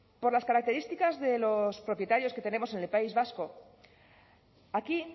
por las características de los propietarios que tenemos en el país vasco aquí